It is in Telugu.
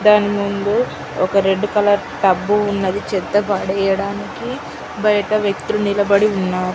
దాన్ని ముందు ఒక రెడ్ కలర్ టబ్ ఉన్నది చెత్త పడేయడానికి బైట పెట్టి నిలబడి ఉన్నారు.